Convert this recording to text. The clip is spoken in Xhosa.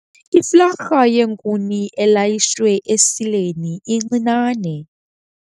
Iflarha yeenkuni elayishwe esileni incinane.